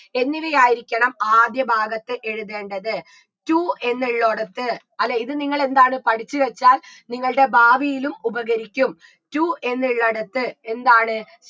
എങ്ങനെയായിരിക്കണം ആദ്യ ഭാഗത്ത് എഴുതേണ്ടത് to എന്നുള്ളൊടത്ത് അല്ലെ ഇത് നിങ്ങൾ എന്താണ് പഠിച്ചു വെച്ചാൽ നിങ്ങൾടെ ഭാവിയിലും ഉപകരിക്കും to എന്നുള്ളടത്ത് എന്താണ്